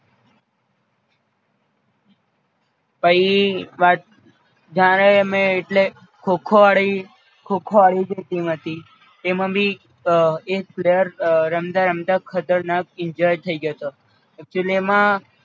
પઈ વાત જાણે અમે એટલે ખો ખો વાળી ખો ખો વાળી જે ટીમ હતી એમાં બી એક player રમતા રમતા ખતરનાક Injured થઈ ગયો તો